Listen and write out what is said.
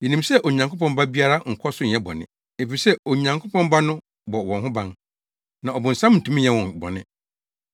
Yenim sɛ Onyankopɔn ba biara nkɔ so nyɛ bɔne, efisɛ Onyankopɔn Ba no bɔ wɔn ho ban, na ɔbonsam ntumi nyɛ wɔn bɔne.